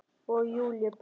Og Júlíu brá.